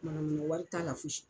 Yuruguyurugu wari t'a la fosi.